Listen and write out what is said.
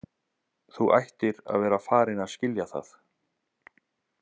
Þú ættir að vera farin að skilja það.